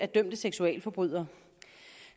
dømte seksualforbrydere